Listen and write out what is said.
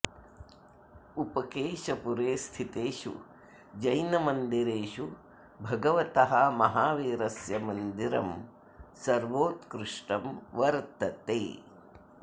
उपकेशपुरे स्थितेषु जैनमन्दिरेषु भगवतः महावीरस्य मन्दिरं सर्वोत्कृष्टं वर्तते